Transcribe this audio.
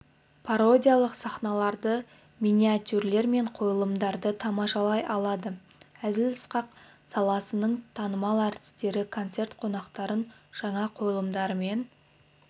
пародиялық сахналарды миниатюралар мен қойылымдарды тамашалай алады әзіл-сықақ саласының танымал әртістері концерт қонақтарын жаңа қойылымдарымен